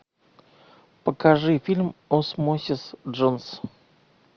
покажи фильм осмосис джонс